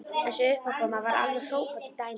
Þessi uppákoma var alveg hrópandi dæmi.